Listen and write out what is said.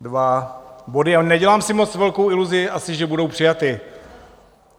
Dva body, a nedělám si moc velkou iluzi asi, že budou přijaty.